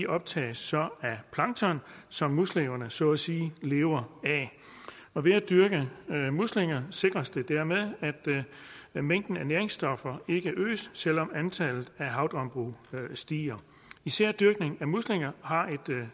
optages så af plankton som muslingerne så at sige lever af og ved at dyrke muslinger sikres det dermed at mængden af næringsstoffer ikke øges selv om antallet af havdambrug stiger især dyrkning af muslinger har et